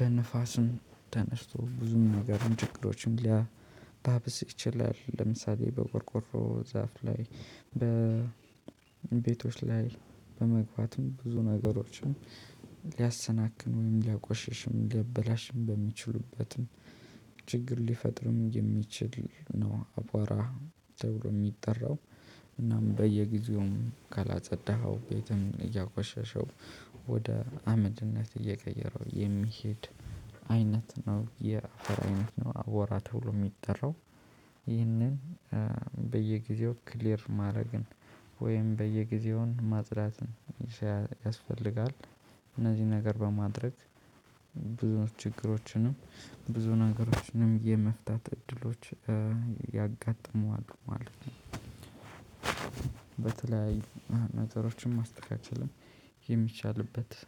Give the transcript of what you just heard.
በንፋስም ተነስቶ ብዙም ነገርን ችግሮችን ሊያባብስ ይችላል። ለምሳሌ በቆርቆሮ ዛፍ ላይ በቤቶች ላይ በመግባትም ብዙ ነገሮችን ሊያሰናክልን ወይም ሊያቆሽሽም ሊያበላሽም በሚችሉበትም ችግር ሊፈጥርም የሚችል ነው። አቧራ ተብሎ የሚጠራው እናም በየጊዜውም ካላጸዳኸው ቤትም እያቆሸሸው ወደ አመድነት እየቀየረው የሚሄድ አይነት ነው። የአፈር አይነት ነው አቧራ ተብሎ የሚጠራው ይህንን በየጊዜው ክሊር ማድረግን ወይም በየጊዜውን ማጽዳትን ያስፈልጋል። እነዚህ ነገር በማድረግ ብዙ ችግሮችንም ብዙ ነገሮችንም የመፍታት እድሎች ያጋጥመሉ ማለት ነው። በተለያዩ ነጥሮችን ማስተካከልም የሚቻልበት